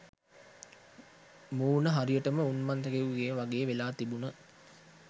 මූණ හරියටම උන්මත්තකයෙකුගෙ වගේ වෙලා තිබුන.